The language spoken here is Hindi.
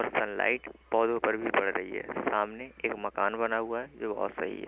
और सन लाइट पौधों पर भी पड़ रही है सामने एक मकान बना हुआ है जो वो सही है।